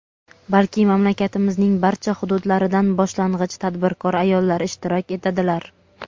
balki mamlakatimizning barcha hududlaridan boshlang‘ich tadbirkor ayollar ishtirok etadilar.